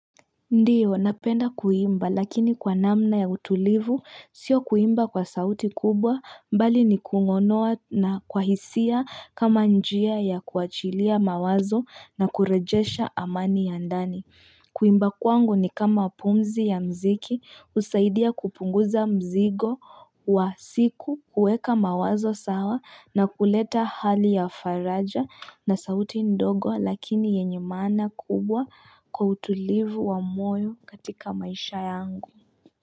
Ndiyo, napenda kuimba lakini kwa namna ya utulivu sio kuimba kwa sauti kubwa mbali ni kunonoa na kwa hisia kama njia ya kuachilia mawazo na kurejesha amani ya ndani. Kuimba kwangu ni kama pumzi ya mziki usaidia kupunguza mzigo wa siku uweka mawazo sawa na kuleta hali ya faraja na sauti ndogo lakini yenye maana kubwa kwa utulivu wa moyo katika maisha yangu.